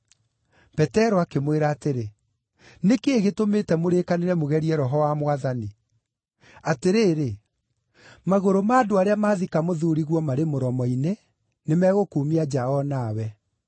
Petero akĩmwĩra atĩrĩ, “Nĩ kĩĩ gĩtũmĩte mũrĩĩkanĩre mũgerie Roho wa Mwathani? Atĩrĩrĩ, magũrũ ma andũ arĩa maathika mũthuuriguo marĩ mũromo-inĩ, nĩmegũkuumia nja o nawe.”